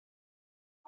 Nuddar kaldar hendur.